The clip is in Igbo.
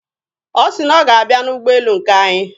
Ọ sị na ọ ga-abịa n'ụgbọelu nke anyị.